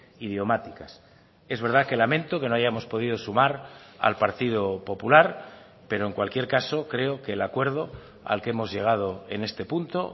idiomáticas es verdad que lamento que no hayamos podido sumar al partido popular pero en cualquier caso creo que el acuerdo al que hemos llegado en este punto